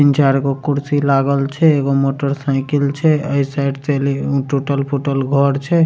तीन चार गो कुर्सी लागल छै एगो मोटर साइकिल छै ए साइड से टूटल-फुटल घर छै।